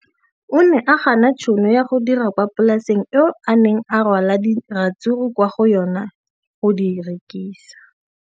O ne a gana tšhono ya go dira kwa polaseng eo a neng rwala diratsuru kwa go yona go di rekisa.